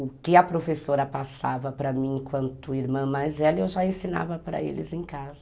O que a professora passava para mim enquanto irmã mais velha, eu já ensinava para eles em casa.